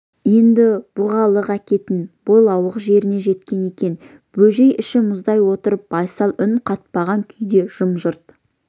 енді бұғалық әкететін бойлауық жеріне жеткен екен бөжей іші мұздай отырып байсал үн қатпаған күйде жым-жырт